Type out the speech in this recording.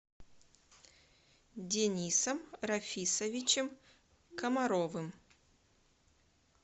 денисом рафисовичем комаровым